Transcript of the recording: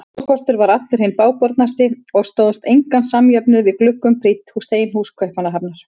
Húsakostur þar var allur hinn bágbornasti og stóðst engan samjöfnuð við gluggum prýdd steinhús Kaupmannahafnar.